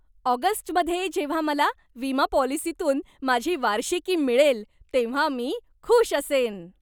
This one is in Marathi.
ऑगस्टमध्ये जेव्हा मला विमा पॉलिसीतून माझी वार्षिकी मिळेल तेव्हा मी खूष असेन.